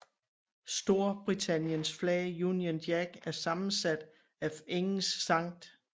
Storbritanniens flag Union Jack er sammensat af Englands Skt